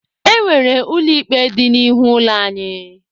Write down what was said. E nwere ụlọ ikpe dị n'ihu ụlọ anyị.